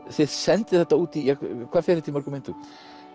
þið sendið þetta út hvað fer þetta í mörgum eintökum